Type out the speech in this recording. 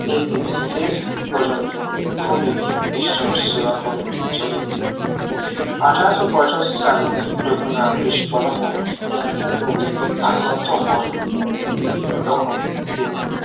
একদিন শেষ পর্যন্ত খুবই ভীষণ সেবা করেছিলেন আঠারোশো পঁচাশি সালের যখন রামকৃষ্ণ পরমহংস ক্যান্সার রোগে আক্রান্ত হন তখন তিনি